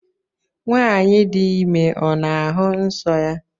nwanyi di ime ọ n'ahụ nsọ ya?